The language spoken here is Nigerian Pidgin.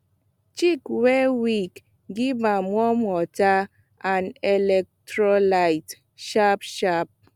chick wey weak give am warm water and electrolyte sharpsharp